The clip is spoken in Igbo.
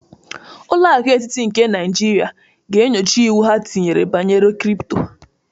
Ụlọ akụ etịtị nke Naijiria ga-enyocha iwu ha tịrị banyere kripto